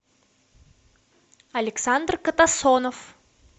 александр катасонов